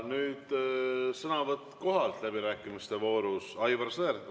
Nüüd sõnavõtt kohalt läbirääkimiste voorus, Aivar Sõerd.